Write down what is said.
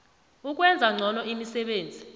ukwenza ngcono imisebenzi